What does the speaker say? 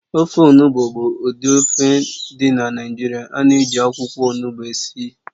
Ofe onugbụ bụ ụdị ofe dị na Naịjirịa ánà -eji akwụkwọ ọnụgbu esi